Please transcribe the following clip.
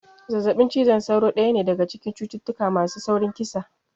Zazzaɓin cizon sauro daya ne daga cikin cututtuka masu saurin kisa